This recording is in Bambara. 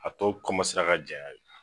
A tɔ ka janya ye